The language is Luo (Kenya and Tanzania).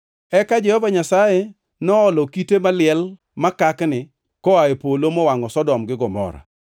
Eka Jehova Nyasaye noolo kite maliel makakni koa e polo mowangʼo Sodom gi Gomora.